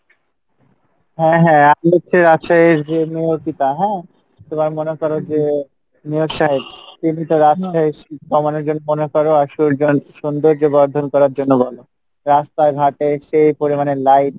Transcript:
হ্যাঁ হ্যাঁ আপনি হচ্ছে রাজশাহীর হ্যাঁ তো এবার মনে করো যে রাস্তা ঘাটে সেই পরিমাণে light